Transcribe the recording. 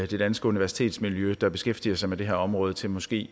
de danske universitetsmiljøer der beskæftiger sig med det her område til måske